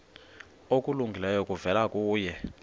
okulungileyo kuvela kuye